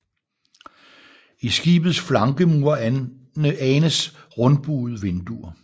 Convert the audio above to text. I skibets flankemure anes rundbuede vinduer